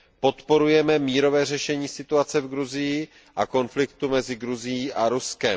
Podporujeme mírové řešení situace v Gruzii a konfliktu mezi Gruzií a Ruskem.